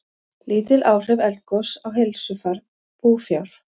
Lítil áhrif eldgoss á heilsufar búfjár